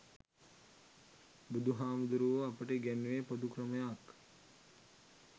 බුදුහාමුදුරුවෝ අපට ඉගැන්නුවෙ පොදු ක්‍රමයක්.